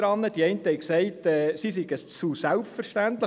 Die einen sagten, sie seien zu selbstverständlich.